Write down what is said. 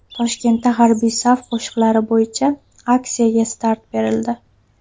Toshkentda harbiy saf qo‘shiqlari bo‘yicha aksiyaga start berildi.